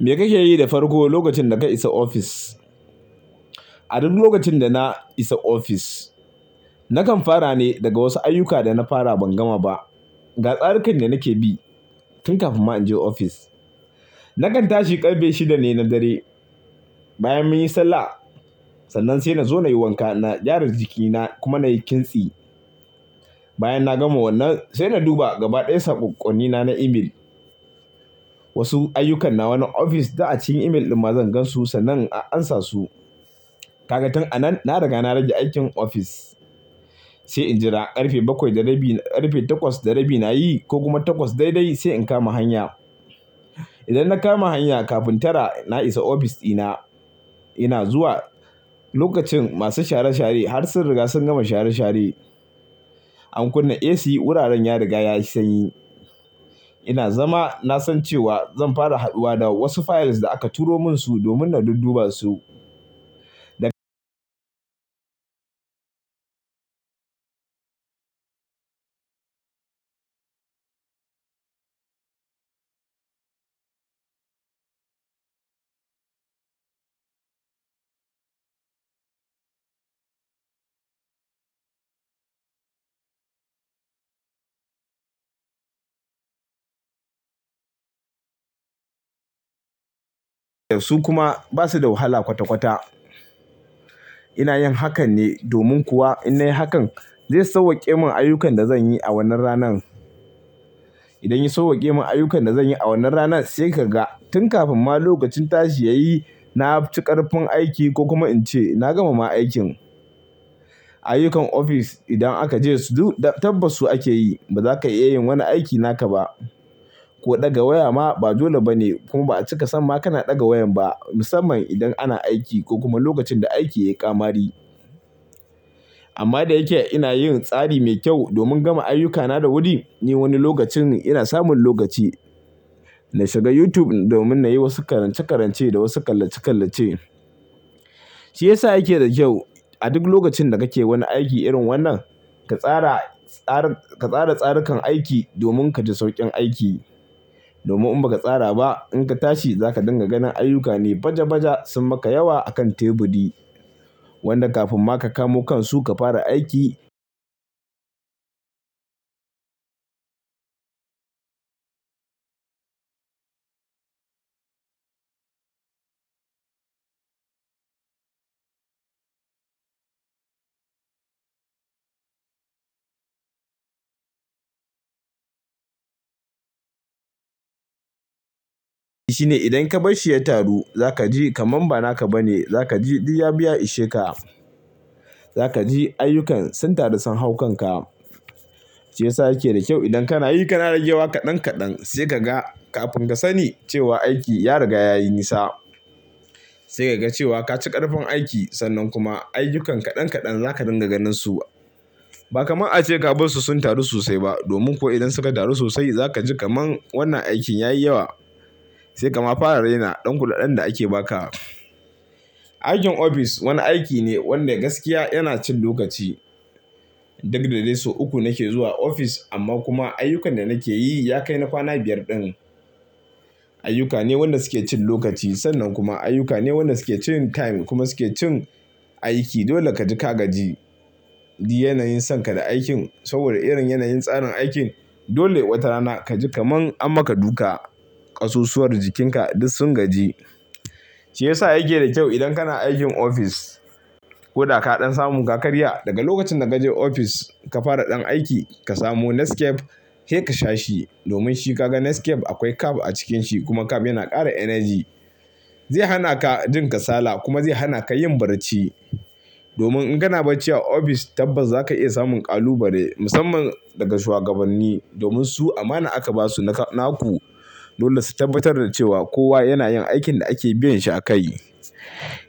Me kake yi da farko lokacin da ka isa ofis. A duk lokacin da na isa ofis, na kan fara ne daga wasu ayyuka da na fara ban gama ba. Ga tsarikan da nake bi tun kafin ma in je ofis. Na kan tashi ƙarfe shida ne na dare, bayan mun yi sallah, sannan sai na zo na yi wanka, na gyara jikina kuma na yi kintsi. Bayan na gama wannan, sai na duba gaba ɗaya sakoƙonnina na email. Wasu ayyukana wannan ofis, da a cikin email ɗin ma zan gan su sannan in a a amsa su. Kaga tun a nan, na riga na rage aikin ofis. Sai in jira ƙarfe bakwai da rabi, ƙarfe takwas da rabi na yi ko kuma takwas daidai sai in kama hanya. Idan na kama hanya, kafin tara na isa ofis ɗina. Ina zuwa lokacin masu share-share har sun riga sun gama share-share. An kunna AC, wuraren ya riga ya sanyi. Ina zama, na san cewa zan fara haɗuwa da wasu files da aka turo min su domin na dudduba su. Da su kuma ba su da wahala kwata-kwata. Ina yin hakan ne domin kuwa in na yi hakan, zai sauwake mun ayyukan da zan yi a wannan ranan. Idan ya sauwake mun ayyukan da zan yi a wannan ranan, sai ka ga tun kafin ma lokacin tashi ya yi, na ci ƙarfin aiki ko kuma in ce na gama ma aikin. Ayyukan ofis idan aka je su duk tabbas su ake yi. Ba za ka iya yin wani aiki naka ba. Ko ɗaga waya ma ba dole ba ne. Kuma ba cika san ba kana ɗaga wayan ba, musamman idan ana aiki ko kuma lokacin da aiki ya yi ƙamari. Amma da yake ina yin tsari mai kyau domin gama ayyukana da wuri, ni wani lokacin ina samun lokaci na shiga YouTube domin na yi wasu karance-karance da wasu kallace-kallace. Shi ya sa yake da kyau a duk lokacin da kake wani aiki irin wannan, ka tsara, tsarin, ka tsara tsarikan aiki domin ka ji sauƙin aiki. Domin in ba ka tsara ba, in ka tashi za ka dinga ganin ayyuka ne baja-baja sun maka yawa a kan teburi. Wannan kafin ma ka kamo kansu ka fara aiki. Shi ne idan ka bar shi ya taru, za ka ji kamar ba naka ba ne. Za ka ji duk ya bi ya isheka. Zaka ji ayukan sun taru sun hau kanka. Shi ya sa yake da kyau idan kana yi, kana rage wa kaɗan kaɗan. Sai ka ga kafin ka sani cewa aiki ya riga ya yi nisa. Sai ka ga cewa ka ci ƙarfin aiki. Sannan kuma ayyukan kaɗan kaɗan za ka dinga ganin su. Ba kamar a ce ka bar su sun taru sosai ba. Domin kuwa idan suka taru sosai, za ka ji kamar wannan aikin ya yi yawa. Sai kama fara raina ɗan kudaɗen da ake ba ka. Aikin ofis wani aiki ne wanda gaskiya yana cin lokaci. Duk da dai sau uku nake zuwa ofis amma kuma ayyukan da nake yi ya kai na kwana biyar ɗin. Ayyuka ne wanda suke cin lokaci. Sannan kuma ayyuka ne waɗanda suke cin time kuma suke cin aiki. Dole ka ji ka gaji. Duk yanayin son ka da aikin saboda irin yanayin tsarin aikin, dole watarana ka ji kamar ammaka duka ƙasusuwar jikinka duk sun gaji. Shi ya sa yake da kyau idan kana aikin ofis ko da ka ɗan samu ka karya, daga lokacin da ka je ofis ka fara ɗan aiki, ka samu Nescafe. Sai ka sha shi domin shi ka ga Nescafe akwai kaf a cikinsa. Kuma kaf yana ƙara energy. Zai hana ka jin kasala kuma zai hana ka yin barci. Domin in kana barci a ofis tabbas za ka iya samun kalubale musamman daga shuwagabanni. Domin su amana aka ba su naka, naku. Dole su tabbatar da cewa kowa yana yin aikin da ake biyan shi a kai.